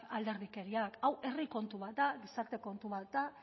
alderdikeriak hau herri kontu bat da gizarte kontu bat da